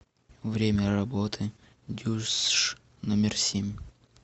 время работы дюсш номер семь